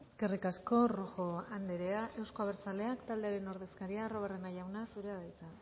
eskerrik asko rojo anderea euzko abertzaleak taldearen ordezkaria arruabarrena jauna zurea da hitza